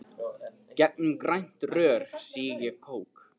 Gegnum grænt rör sýg ég kók.